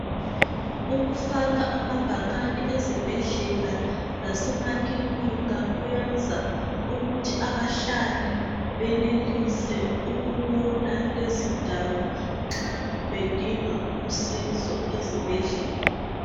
Ukufaka amabhakani ezibhedlela laseemakilinika kuyenza ukuthi abahlali benelise ukubona lezindawo nxa bedinga usizo ezibhedlela.